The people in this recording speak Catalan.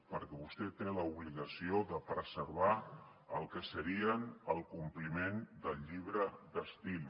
perquè vostè té l’obligació de preservar el que seria el compliment del llibre d’estil